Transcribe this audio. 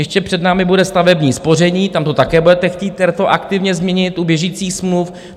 Ještě před námi bude stavební spoření, tam to také budete chtít retroaktivně změnit u běžících smluv.